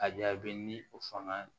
A jaabi ni o fanga